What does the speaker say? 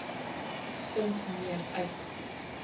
vind meer uit